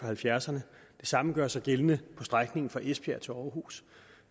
halvfjerdserne det samme gør sig gældende på strækningen fra esbjerg til aarhus